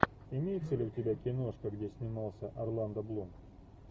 имеется ли у тебя киношка где снимался орландо блум